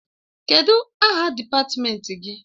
Kedụ aha dịpatmenti gị?